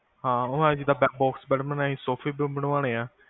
ਹਾਂ ਉਹ box bed ਬਣਾਏ ਸੀ ਸੋਫੇ ਵੀ ਬਨਵਾਨੇਂ ਆ